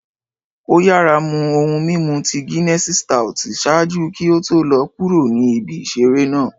o yara mu ohun mimu ti Ginessii stout ṣaaju ki o to lọ kuro ni ibi isere naa.